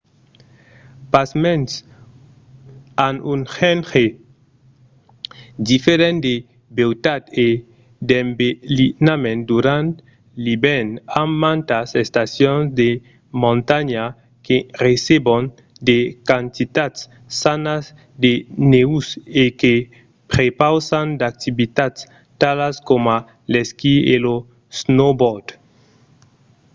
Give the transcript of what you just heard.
pasmens an un genre diferent de beutat e d'embelinament durant l'ivèrn amb mantas estacions de montanha que recebon de quantitats sanas de nèus e que prepausan d'activitats talas coma l'esquí e lo snowboard